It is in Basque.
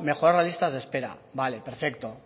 mejorar las listas de espera vale perfecto